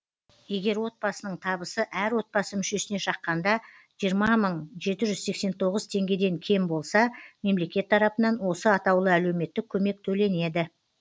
егер отбасының табысы әр отбасы мүшесіне шаққанда жиырма мың жеті жүз сексен тоғыз теңгеден кем болса мемлекет тарапынан осы атаулы әлеуметтік көмек төленеді